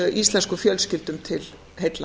íslenskum fjölskyldum til heilla